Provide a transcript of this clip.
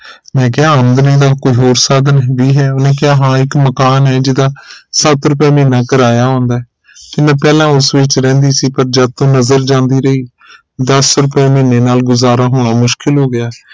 ਮੈਂ ਕਿਹਾ ਆਮਦਨੀ ਦਾ ਕੋਈ ਹੋਰ ਸਾਧਨ ਨਹੀ ਹੇਗਾ ਮੈਂ ਕਿਹਾ ਹਾਂ ਇਕ ਮਕਾਨ ਹੈ ਜਿਹਦਾ ਸੱਤ ਰੁਪਏ ਮਹੀਨਾ ਕਿਰਾਇਆ ਆਉਂਦੇ ਤੇ ਮੈਂ ਪਹਿਲਾ ਉਸ ਵਿਚ ਰਹਿੰਦੀ ਸੀ ਪਰ ਜਦ ਤੋਂ ਨਜ਼ਰ ਜਾਂਦੀ ਰਹੀ ਦਸ ਰੁਪਏ ਮਹੀਨੇ ਨਾਲ ਗੁਜ਼ਾਰਾ ਹੋਣਾ ਮੁਸ਼ਕਿਲ ਹੋ ਗਿਆ ਹੈ